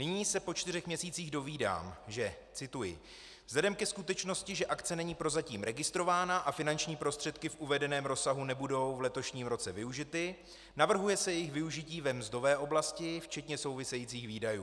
Nyní se po čtyřech měsících dovídám, že - cituji: "Vzhledem ke skutečnosti, že akce není prozatím registrována a finanční prostředky v uvedeném rozsahu nebudou v letošním roce využity, navrhuje se jejich využití ve mzdové oblasti včetně souvisejících výdajů."